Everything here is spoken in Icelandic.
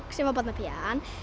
sem var barnapían